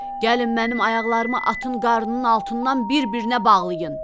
Gəlin mənim ayaqlarımı atın qarnının altından bir-birinə bağlayın.